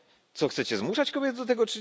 Co, chcecie zmuszać kobiety do tego?